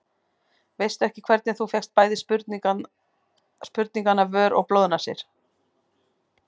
Veistu ekki hvernig þú fékkst bæði sprungna vör og blóðnasir.